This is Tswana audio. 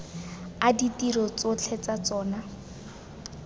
a ditiro tsotlhe tsa tsona